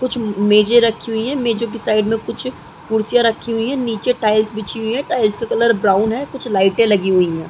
कुछ मेजे रखी हुई है। मेजो के साइड में कुछ कुर्सियां रखी हुई है। नीचे टाइल्स बिछी हुई है। टाइल्स का कलर ब्राउन है। कुछ लाइटे लगी हुई हैं।